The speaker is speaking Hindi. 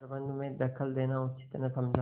प्रबंध में दखल देना उचित न समझा